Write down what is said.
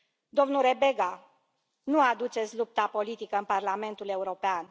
Domnule Rebega, nu aduceți lupta politică în Parlamentul European.